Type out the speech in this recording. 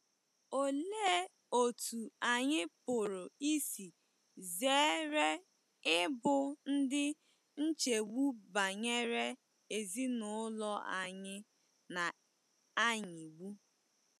Olee otú anyị pụrụ isi zere ịbụ ndị nchegbu banyere ezinụlọ anyị na - anyịgbu?